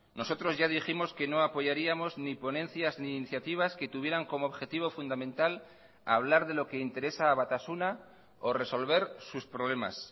nosotros ya dijimos que no apoyaríamos ni ponencias ni iniciativas que tuvieran como objetivo fundamental hablar de lo que interesa a batasuna o resolver sus problemas